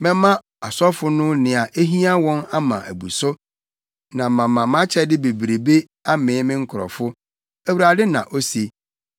Mɛma asɔfo no nea ehia wɔn ama abu so, na mama mʼakyɛde bebrebe amee me nkurɔfo,” Awurade, na ose.